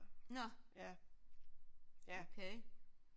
Nåh okay